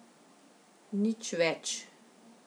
Nič več.